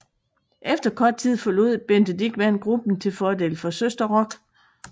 Efter kort tid forlod Bente Dichmann gruppen til fordel for Søsterrock